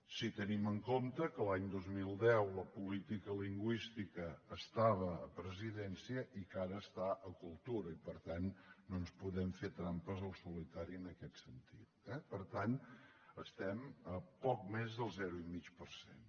si tenim en compte que l’any dos mil deu la política lingüística estava a presidència i que ara està a cultura i per tant no ens podem fer trampes al solitari en aquest sentit eh per tant estem a poc més del zero coma cinc per cent